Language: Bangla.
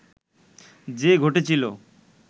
যে ঘটেছিল